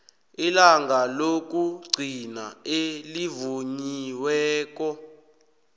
ilanga lokugcina elivunyiweko